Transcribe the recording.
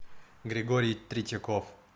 григорий третьяков